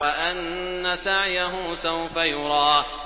وَأَنَّ سَعْيَهُ سَوْفَ يُرَىٰ